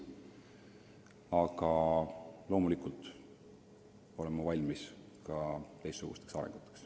Aga loomulikult olen ma valmis teistsugusteks arenguteks.